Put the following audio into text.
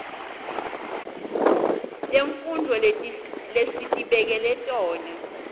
temfundvo lesitibekele tona